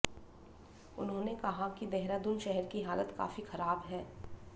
उन्होंने कहा कि देहरादून शहर की हालत काफी खराब है